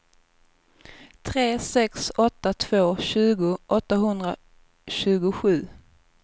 tre sex åtta två tjugo åttahundratjugosju